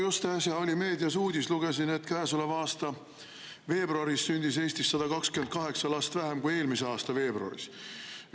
Just äsja oli meedias uudis, lugesin seda, et käesoleva aasta veebruaris sündis Eestis 128 last vähem kui eelmise aasta veebruaris.